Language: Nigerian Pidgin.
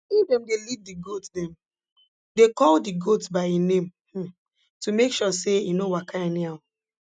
if dem dey lead d goat dem dey call d goat by e name um to make sure say e no waka anyhow